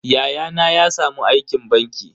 Yayana ya samu aikin banki.